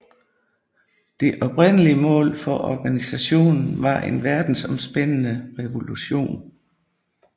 Det oprindelige mål for organisationen var en verdensomspændende revolution